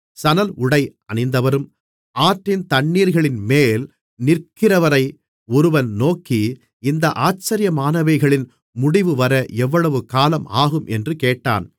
சணல்உடை அணிந்தவரும் ஆற்றின் தண்ணீர்களின்மேல் நிற்கிறவரை ஒருவன் நோக்கி இந்த ஆச்சரியமானவைகளின் முடிவுவர எவ்வளவுகாலம் ஆகும் என்று கேட்டான்